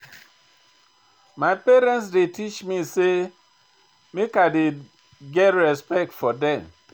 My parents dey teach me sey make I dey get respect for dem.